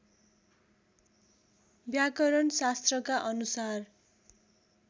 व्याकरण शास्त्रका अनुसार